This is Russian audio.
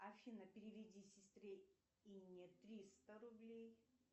афина переведи сестре инне триста рублей